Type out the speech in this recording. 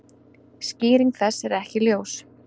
Skýring þess er ekki ljós.